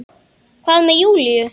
Hvað með Júlíu?